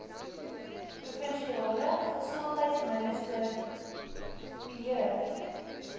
provinsiale gesondheidsminister pierre